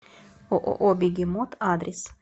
ооо бегемот адрес